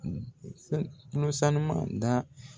saneman da